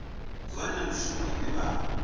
zwone na mishumo ine vha